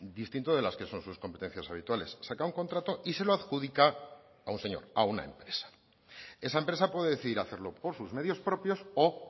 distinto de las que son sus competencias habituales saca un contrato y se lo adjudica a un señor a una empresa esa empresa puede decidir hacerlo por sus medios propios o